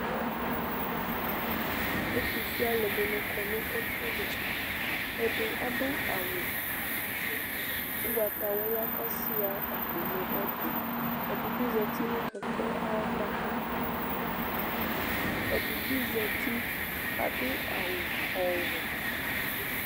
Ɛtʋfue alʋɛdɩnɩ kɔ nʋ ɛfʋɛdɩ Ɛdɩ adʋ awʋ ʋgbatawla kʋ asʋɩa akpo nʋ ɛtʋ Ɛdɩ bɩ zati nʋ kɛkɛ ava Ɛdɩ bɩ zati kʋ adʋ awʋ ɔwɛ